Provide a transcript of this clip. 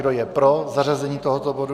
Kdo je pro zařazení tohoto bodu?